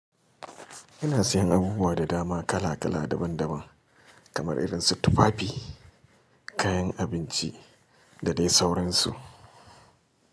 Ina siyan abubuwa da dama kala kala daban daban kamar irin su tufafi, kayan abinci da dai sauransu.